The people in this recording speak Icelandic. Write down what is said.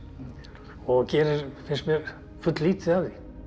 og gerir finnst mér fulllítið af því